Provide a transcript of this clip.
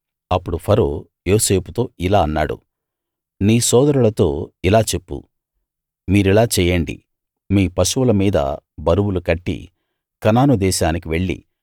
అప్పుడు ఫరో యోసేపుతో ఇలా అన్నాడు నీ సోదరులతో ఇలా చెప్పు మీరిలా చేయండి మీ పశువుల మీద బరువులు కట్టి కనాను దేశానికి వెళ్ళి